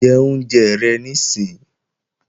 Jẹ oúnjẹ rẹ níìsín!